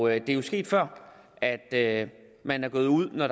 er jo sket før at man er gået ud